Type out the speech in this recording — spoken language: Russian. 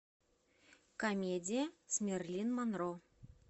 комедии с мерлин монро